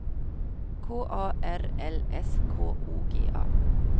K A R L S K O G A